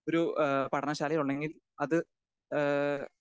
speaker 2 ഒരു ഏഹ് പഠന ശാലയിലൊണ്ടെങ്കിൽ അത് ഏഹ്